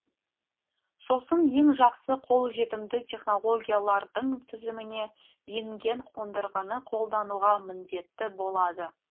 сосын ең жақсы қолжетімді технологиялардың тізіміне енген қондырғыны қолдануға міндетті болады